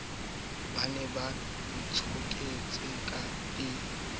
ba ne ba ntshoketse e